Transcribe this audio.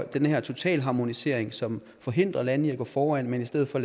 den her totale harmonisering som forhindrer lande i at gå foran men i stedet for